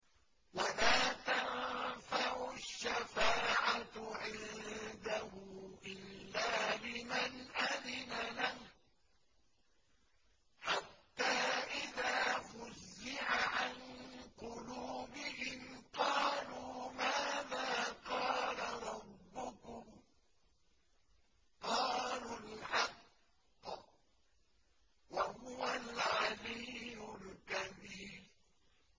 وَلَا تَنفَعُ الشَّفَاعَةُ عِندَهُ إِلَّا لِمَنْ أَذِنَ لَهُ ۚ حَتَّىٰ إِذَا فُزِّعَ عَن قُلُوبِهِمْ قَالُوا مَاذَا قَالَ رَبُّكُمْ ۖ قَالُوا الْحَقَّ ۖ وَهُوَ الْعَلِيُّ الْكَبِيرُ